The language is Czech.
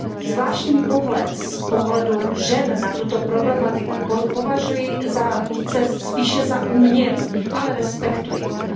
Zvláštní pohled z pohledu žen na tuto problematiku považuji za spíše umělý, ale respektuji ho.